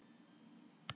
Hvað er rafmagn?